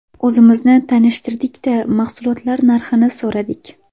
O‘zimizni tanishtirdik-da, mahsulotlar narxini so‘radik.